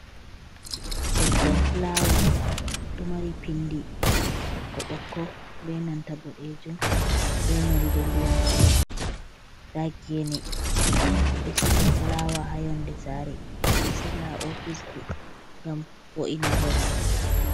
Leggal fulaawa ɗo mari pinndi ɓokko ɓokko ,be nanta boɗeejum, be nonnde ndiyam koy. Ndaa geene ɓe ɗo siga fulaawa haa yonnde saare ,ɓe ɗo siga haa ofisji ngam vo’ina babal.